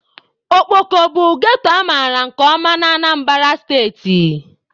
Okpoko bụ ghetto amaara nke ọma na Anambara steeti.